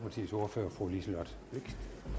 at